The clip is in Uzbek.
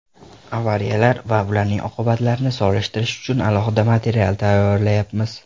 Avariyalar va ularning oqibatlarini solishtirish uchun alohida material tayyorlayapmiz.